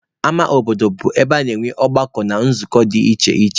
Ama obodo bụ ebe a na-enwe ọgbakọ na nzukọ dị iche iche.